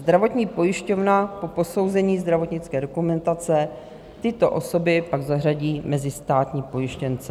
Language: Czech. Zdravotní pojišťovna po posouzení zdravotnické dokumentace tyto osoby pak zařadí mezi státní pojištěnce.